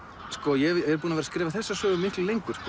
ég er búinn að skrifa þessa sögu miklu lengur